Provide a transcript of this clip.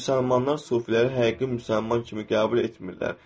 Müsəlmanlar sufiləri həqiqi müsəlman kimi qəbul etmirlər.